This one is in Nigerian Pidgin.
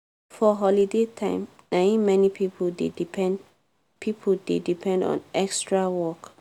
for holiday time na im many pipo dey depend pipo dey depend on extra work.